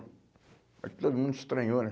Acho que todo mundo estranhou, né?